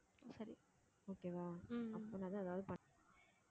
okay வா அப்படின்னா தான் ஏதாவது பண்~